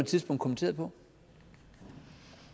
tidspunkt kommenteret på